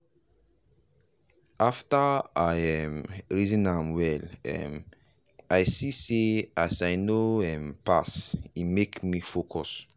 after i um reason am well um i see say as i no um pass e make me focus.